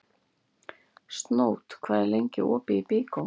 Snót, hvað er lengi opið í Byko?